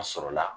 A sɔrɔla